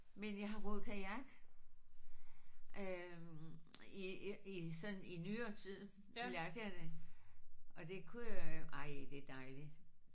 Men jeg har roet kajak øh i i sådan i nyere tid lærte jeg det og det kunne jeg ej det er dejligt